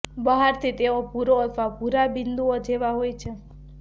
બહારથી તેઓ ભુરો અથવા ભૂરા બિંદુઓ જેવા હોય છે